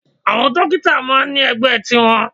Àwọn Dókítà máà ń ní ẹgbẹ́ tiwọn.